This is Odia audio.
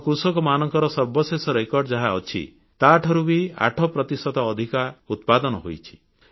ଆମ କୃଷକମାନଙ୍କର ସର୍ବଶେଷ ରେକର୍ଡ ଯାହା ଅଛି ତାଠାରୁ ବି ଆଠ ପ୍ରତିଶତ ଅଧିକ ଉତ୍ପାଦନ ହୋଇଛି